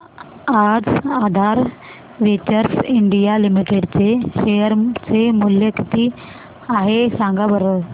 आज Aadhaar ventures India limited चे share चे मूल्य किती आहे सांगा बरं